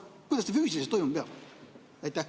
Kuidas see füüsiliselt toimuma peab?